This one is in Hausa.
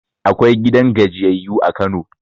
Akwai gidan gajiyayyu a Kano